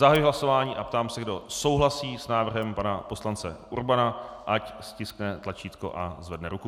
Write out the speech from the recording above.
Zahajuji hlasování a ptám se, kdo souhlasí s návrhem pana poslance Urbana, ať stiskne tlačítko a zvedne ruku.